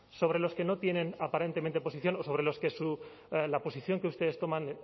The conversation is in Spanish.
sobre los que no tienen aparentemente posición o sobre los que la posición que ustedes toman